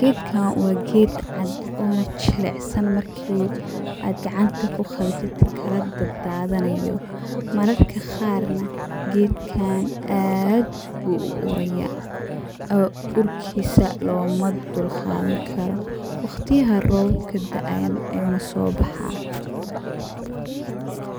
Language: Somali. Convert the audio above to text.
geedka wa geed cad ona jilicsan marki aad gacanta kugawatit kaladadadanayo, mararka qaar nah, geedkan aad bu uuraya, ee urkisa lomadulqadankaro, wagtiyaxa roobabka daayan ayuna sobaxa.